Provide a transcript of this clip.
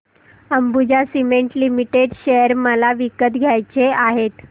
Ambuja cement limited share मला विकत घ्यायचे आहेत